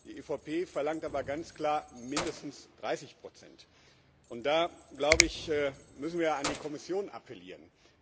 Die EVP verlangt aber ganz klar mindestens 30 und da, glaube ich, müssen wir an die Kommission appellieren.